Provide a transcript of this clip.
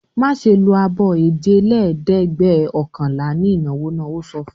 "Má ṣe lo abọ́ èjelẹ́ẹ̀dẹ́gbẹ̀ọ̀kànlá ní ìnáwó náà!" Ó sọ fún un.